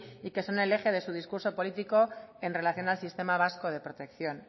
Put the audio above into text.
y que son el eje de su discurso político en relación al sistema vasco de protección